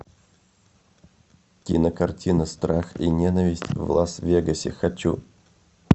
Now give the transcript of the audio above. кинокартина страх и ненависть в лас вегасе хочу